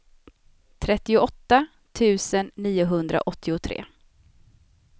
trettioåtta tusen niohundraåttiotre